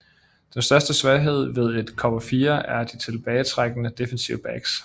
Den største svaghed ved et Cover 4 er de tilbagetrækkende defensive backs